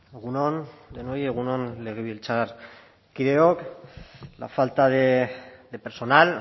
egun on denoi egun on legebiltzarkideok la falta de personal